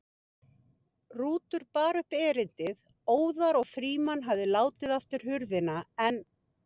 Rútur bar upp erindið óðar og Frímann hafði látið aftur hurðina en